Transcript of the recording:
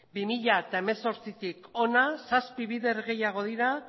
bi mila zortzitik hona zazpi bider gehiago dira